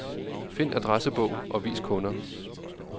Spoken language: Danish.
Find adressebog og vis kunder.